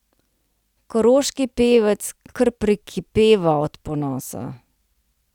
Koroški pevec kar prekipeva od ponosa.